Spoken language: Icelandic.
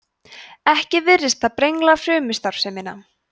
ekki virðist það brengla frumustarfsemina